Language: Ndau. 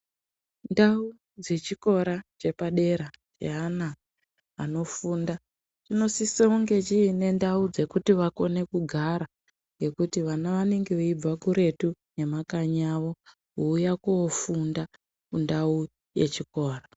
Ndau dzechikora chepadera cheana anofunda, chinosisounge chiine ndau dzekuti vakone kugara, ngekuti vana vanenge veibva kuretu nemakanyi avo, kuuya koofunda kundau yechikoro.